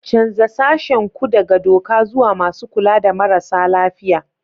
Canza sashen ku daga doka zuwa masu kula da marasa lafiya.